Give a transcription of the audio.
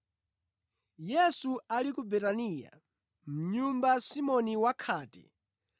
Yesu ali ku Betaniya mʼnyumba Simoni Wakhate,